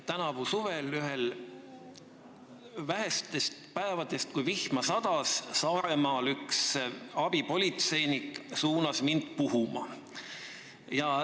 Tänavuse suve ühel vähestest päevadest, kui vihma sadas, suunas Saaremaal üks abipolitseinik mind puhuma.